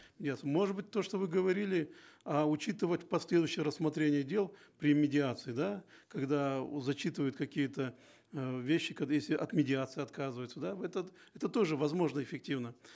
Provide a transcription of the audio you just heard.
нет может быть то что вы говорили э учитывать последующее рассмотрение дел при медиации да когда зачитывают какие то э вещи когда если от медиации отказываются да этот это тоже возможно эффективно